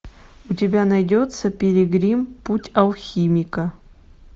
у тебя найдется пилигрим путь алхимика